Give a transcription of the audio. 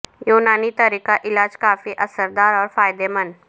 یونانی طریقہ علاج کافی اثر دار اور فائدہ مند